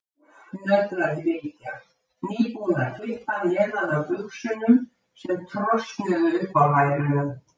Úff, nötraði Bylgja, nýbúin að klippa neðan af buxunum sem trosnuðu upp á lærunum.